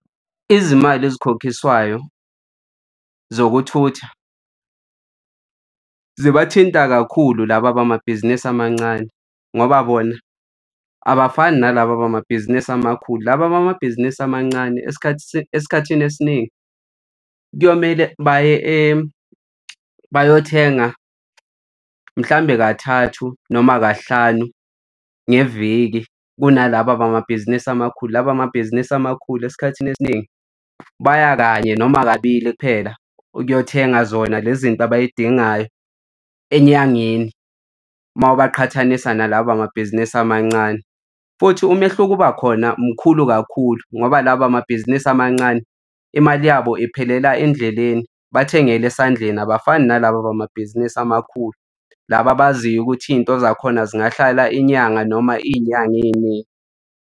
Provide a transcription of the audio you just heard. Izimali ezikhokhiswayo zokuthutha zibathinta kakhulu laba abamabhizinisi amancane, ngoba bona abafani nalaba abamabhizinisi amakhulu. Laba abamabhizinisi amancane esikhathini esikhathini esiningi kuyomele baye bayothenga, mhlawumbe kathathu noma kahlanu ngeviki kunalaba bamabhizinisi amakhulu. Laba amabhizinisi amakhulu esikhathini esiningi baya kanye noma kabili kuphela ukuyothenga zona lezi zinto abay'dingayo enyangeni, mawubaqhathanisa nalaba abamabhizinisi amancane. Futhi umehluko oba khona mkhulu kakhulu ngoba laba abamabhizinisi amancane imali yabo ephelela endleleni bathengele esandleni abafani nalaba abamabhizinisi amakhulu, laba abaziyo ukuthi iy'nto zakhona zingahlala inyanga noma iy'nyanga ey'ningi.